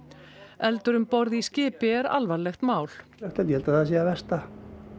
eldur um borð í skipi er alvarlegt mál ég held að það sé það versta